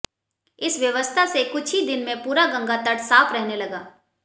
इस व्यवस्था से कुछ ही दिन में पूरा गंगा तट साफ रहने लगा